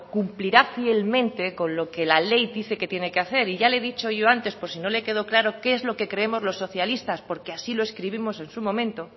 cumplirá fielmente con lo que la ley dice que tiene que hacer y ya le he dicho yo antes por si no le quedó claro qué es lo que creemos los socialistas porque así lo escribimos en su momento